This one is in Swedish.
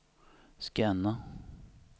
scanna